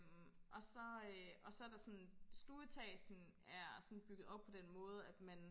og så øh og så er der sådan stueetagen er sådan bygget op på den måde at man